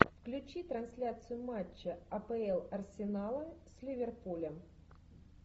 включи трансляцию матча апл арсенала с ливерпулем